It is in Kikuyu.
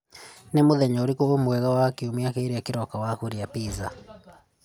Nĩ mũthenya ũrĩkũ mwega wa kiumia kĩrĩa kĩroka wa gũthiĩ kũrĩa pizza?